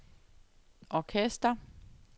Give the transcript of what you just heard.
orkester